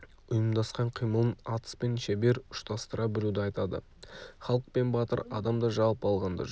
ұйымдасқан қимылын атыспен шебер ұштастыра білуді айтады халық пен батыр адам да жалпы алғанда жоқ